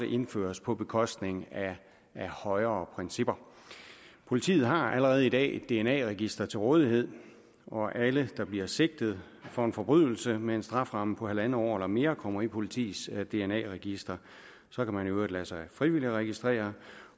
indføres på bekostning af højere principper politiet har allerede i dag et dna register til rådighed og alle der bliver sigtet for en forbrydelse med en strafferamme på en en halv år eller mere kommer i politiets dna register så kan man i øvrigt lade sig frivilligt registrere